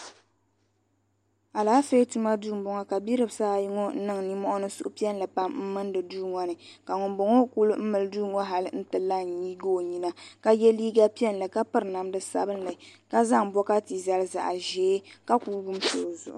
Alaafee tuma duu m boŋɔ ka bidbsi ayi ŋɔ niŋ ninmohi ni suhupiɛlli pam m milinda duu ŋɔ ni ka ŋunboŋɔ kuli mili duu ŋɔ hali n ti la n nyiigi o nyina ka ye liiga piɛlli ka piri namda sabinli ka zaŋ bokati zali zaɣa ʒee ka kuli wumsi o zuɣu.